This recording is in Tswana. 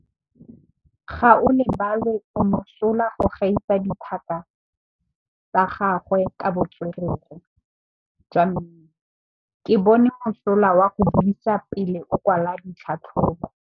Gaolebalwe o mosola go gaisa dithaka tsa gagwe ka botswerere jwa mmino. Ke bone mosola wa go buisa pele o kwala tlhatlhobô.